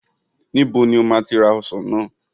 Níbo ni o máa ti ra àwọn ọsàn náà?